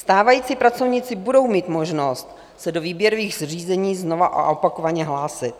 Stávající pracovníci budou mít možnost se do výběrových řízení znova a opakovaně hlásit.